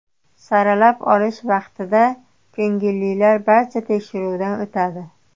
Saralab olish vaqtida ko‘ngillilar barcha tekshiruvdan o‘tadi.